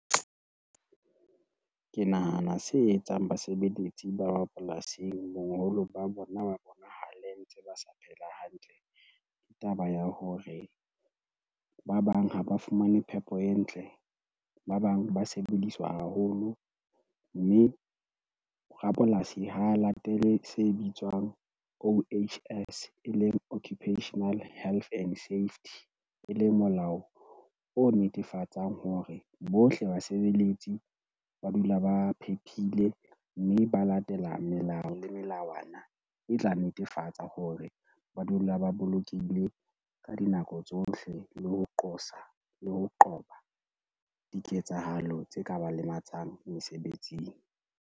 Ke nahana se etsang basebeletsi ba polasing boholo ba bona ba bonahale ntse ba sa phela hantle, ke taba ya hore ba bang ha ba fumane phepo e ntle, ba bang ba sebediswa haholo mme rapolasi ho latele se bitswang O_H_S, e leng Occupational Health and Safety. E leng molao o netefatsang hore bohle basebeletsi ba dula ba phephile mme ba latela melao le melawana e tla netefatsa hore ba dula ba bolokehile ka dinako tsohle, le ho qosa le ho qoba diketsahalo tse ka ba lematsang mesebetsing.